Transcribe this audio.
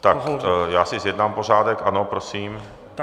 Tak já si zjednám pořádek, ano prosím.